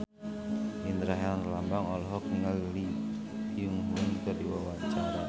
Indra Herlambang olohok ningali Lee Byung Hun keur diwawancara